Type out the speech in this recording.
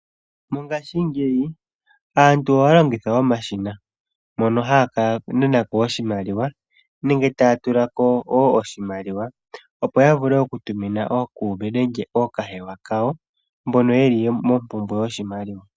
Mongashingeyi aantu ohaya longitha omashina moka haya kananako nenge taya tula ko wo oshimaliwa, opo yavule okutumina ookuume nenge ookahewa kawo mboka yeli mompumbwe yoshimaliwa.